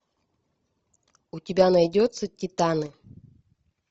у тебя найдется титаны